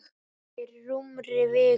Fyrir rúmri viku.